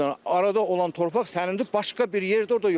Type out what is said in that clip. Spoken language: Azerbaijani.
Arada olan torpaq sənindir, başqa bir yerdə orada yoxdur.